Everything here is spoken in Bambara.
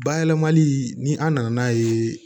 Bayɛlɛmali ni an nana n'a ye